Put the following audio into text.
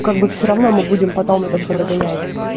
как бы все равно мы будем потом это все догонять